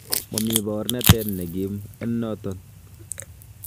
Moomii baroonatet negiim en noton.